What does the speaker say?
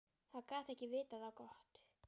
Það gat ekki vitað á gott.